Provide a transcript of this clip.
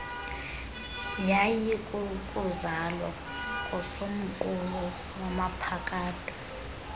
yayikukuzalwa kosomqulu wanaphakade